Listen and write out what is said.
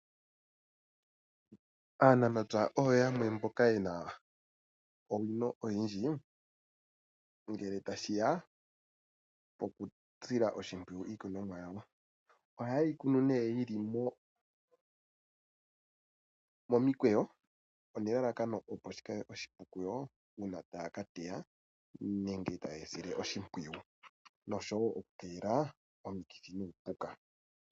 Aanamapya oyo yamwe mboka yena owino oyindji ngele tashiya poku sila oshimpwiyu iikunomwa yawo, ohaye yi kunu nee yili momikwewo onelalakano opo shikale oshipu kuyo uuna taya ka teya nenge taye yi sile oshipwiwu noshowo oku keelela omukithi nuupuka